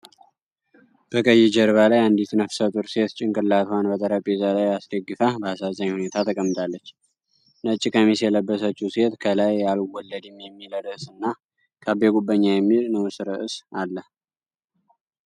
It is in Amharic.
በቀይ ጀርባ ላይ አንዲት ነፍሰ ጡር ሴት ጭንቅላቷን በጠረጴዛ ላይ አስደግፋ በአሳዛኝ ሁኔታ ተቀምጣለች። ነጭ ቀሚስ የለበሰችው ሴት ከላይ 'አልወለድም' የሚል ርዕስና 'ከአቤ ጉበኛ' የሚል ንዑስ ርዕስ አለ።